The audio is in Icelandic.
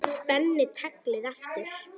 Spenni taglið aftur.